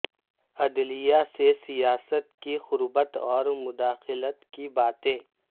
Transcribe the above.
عدلیہ سے سیاست کی قربت اور مداخلت کی باتیں